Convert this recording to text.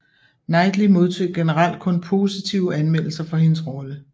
Knightley modtog generelt kun positive anmeldelser for hendes rolle